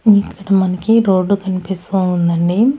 ఇక్కడ మనకి రోడ్డు కనిపిస్తూ ఉందండి.